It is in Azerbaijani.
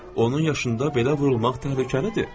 Onun yaşında belə vurulmaq təhlükəlidir.